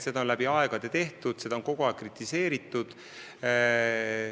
Nii on läbi aegade tehtud ja seda on kogu aeg kritiseeritud.